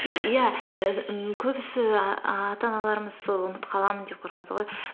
иә көбісі ііі ата аналарымыз сол ұмытып қаламын деп қорқады ғой